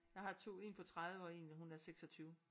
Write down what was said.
Jeg har 2 en på 30 og en hun er 26